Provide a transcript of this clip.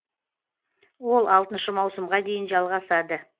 ол алтыншы маусымға дейін жалғасады